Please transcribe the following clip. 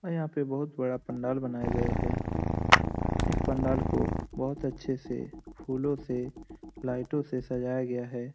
और यहाँ पे बहुत बड़ा पंडाल बनाया गए है इस पंडाल को बहुत अच्छे से फूलों से लाईटों से सजाया गया है।